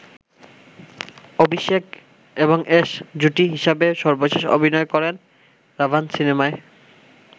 অভিষেক এবং অ্যাশ জুটি হিসেবে সর্বশেষ অভিনয় করেন 'রাভান' সিনেমায়।